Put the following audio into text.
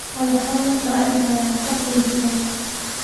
Madax xanuun ayaa i haya tan iyo shalay